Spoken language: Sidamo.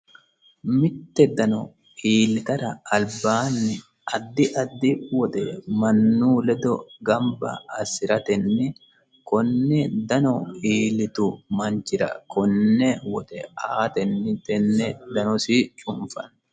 mitte dano iilitara albaanni addi addi woxe mannu ledo gamba assi'ratenni konne dano iilitu manchira konne wote aatenni tenne danosi cunfanno